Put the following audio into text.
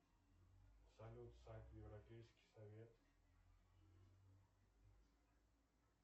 салют сайт европейский совет